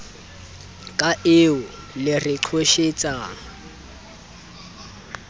ka eo le re qhoshetsang